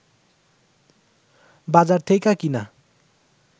বাজার থেইকা কিইনা